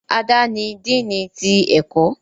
Ada ní Dínni tí ẹkọ